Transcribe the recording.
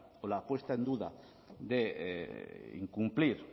o la puesta en duda de incumplir